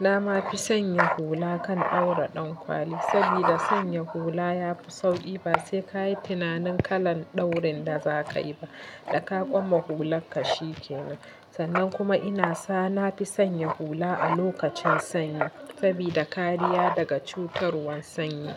Na ma fi sanya hula kan dora ɗankwali sabida sanya hula yafi sauƙi ba sai ka yi tunanin kalar daurin da za ka yi ba da ka koma hular ka shi ke nan. Sannan kuma ina sa na fi sanya hula a lokacin sanyi sabida kariya daga cutarwar sanyi.